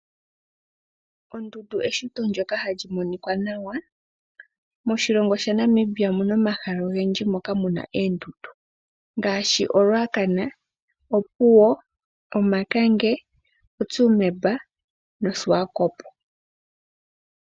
Ondundu eshito lyoka hali monika nawa moshilongo sha naNimibia omuna omahala ogendji moka muna oondundu ngaashi olwakana ,Opuwo ,Omakange , Otsumeb no Swakop.